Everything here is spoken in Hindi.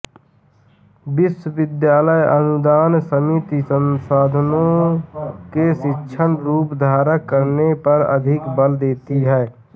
विश्वविद्यालय अनुदान समिति संस्थाओं के शिक्षण रूप धारण करने पर अधिक बल देती है